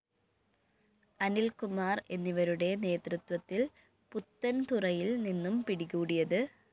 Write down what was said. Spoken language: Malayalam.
അനില്‍കുമാര്‍ എന്നിവരുടെ നേതൃത്വത്തില്‍ പുത്തന്‍തുറയില്‍ നിന്നും പിടികൂടിയത്